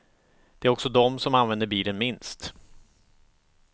Det är också dom som använder bilen minst.